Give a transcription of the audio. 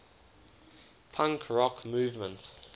punk rock movement